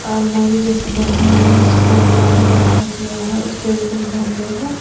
अलमारी जैसे बनी हुई है जिसको ब्राउन कलर का किया हुआ है उसपे भी कुछ गमले है।